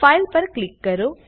file પર click કરો